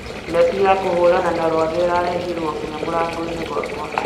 neti ya kũhũrana na rwagĩ ĩrarehirwo nginya mũrangoinĩ gwakwa